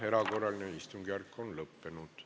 Erakorraline istungjärk on lõppenud.